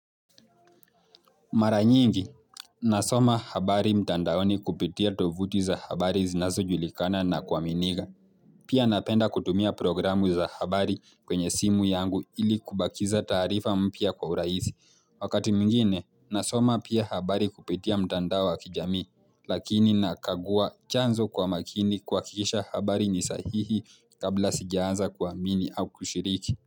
Mara nyingi, nasoma habari mtandaoni kupitia tovuti za habari zinazojulikana na kwa miniga. Pia napenda kutumia programu za habari kwenye simu yangu ili kubakiza taarifa mpya kwa urahisi. Wakati mwingine, nasoma pia habari kupitia mtandao wa kijamii, lakini nakagua chanzo kwa makini kuhakikisha habari ni sahihi kabla sijaanza kuamini au kushiriki.